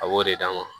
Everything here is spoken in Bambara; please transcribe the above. A b'o de d'a ma